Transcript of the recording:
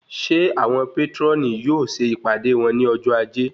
Ṣe awọn patroni yóò ṣe ìpàdé wón ní ọjọ ajé?